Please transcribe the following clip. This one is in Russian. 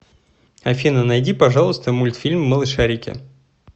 афина найди пожалуйста мультфильм малышарики